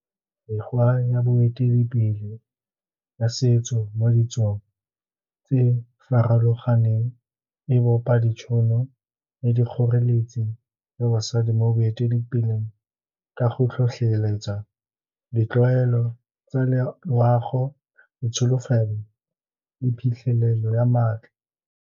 Mekgwa ya boeteledipele ya setso mo ditsong tse farologaneng e bopa ditšhono le dikgoreletsi ya basadi mo boeteledipeleng, ka go tlhotlheletsa ditlwaelo tsa loago, ditsholofelo le phitlhelelo ya maatla.